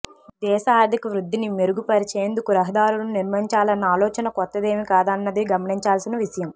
దేశ ఆర్థిక వృద్ధిని మెరుగుపరిచేందుకు రహదారులను నిర్మించాలన్న ఆలోచన కొత్తదేమీ కాదన్నది గమనించాల్సిన విషయం